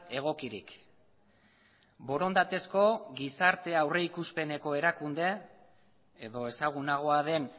egokirik borondatezko gizarte aurrikuspeneko erakunde edo ezagunagoa den